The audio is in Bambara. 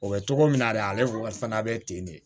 O bɛ cogo min na de ale kɔni fana bɛ ten de